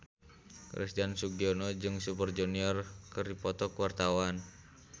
Christian Sugiono jeung Super Junior keur dipoto ku wartawan